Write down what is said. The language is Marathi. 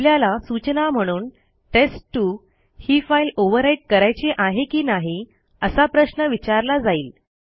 आपल्याला सूचना म्हणून टेस्ट2 ही फाईल ओव्हरराईट करायची आहे की नाही असा प्रश्न विचारला जाईल